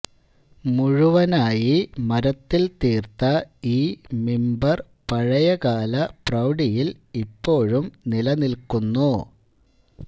മുഴുവനായി മരത്തിൽ തീർത്ത ഈ മിമ്പർ പഴയകാല പ്രൌഢിയിൽ ഇപ്പോഴും നിലനിൽക്കുന്നു